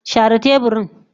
Share teburorin.